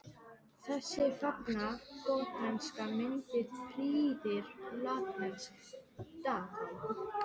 Þessi fagra gotneska mynd prýðir latneskt dagatal.